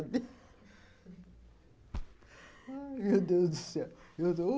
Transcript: Ai, meu Deus do céu.